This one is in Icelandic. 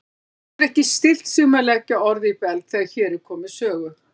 Getur ekki stillt sig um að leggja orð í belg þegar hér er komið sögu.